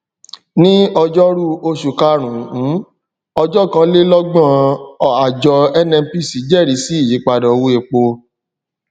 ní ọjórú oṣù karùnún ọjọkọkànlélọgbọn àjọ nnpc jẹẹrí sí ìyípadà owó epo